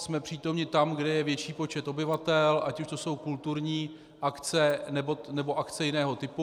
Jsme přítomni tam, kde je větší počet obyvatel, ať už to jsou kulturní akce, nebo akce jiného typu.